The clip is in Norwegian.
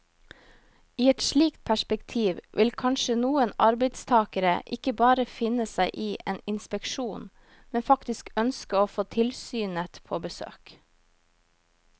I et slikt perspektiv vil kanskje noen arbeidstagere ikke bare finne seg i en inspeksjon, men faktisk ønske å få tilsynet på besøk.